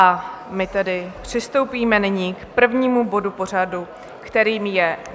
A my tedy přistoupíme nyní k prvnímu bodu pořadu, kterým je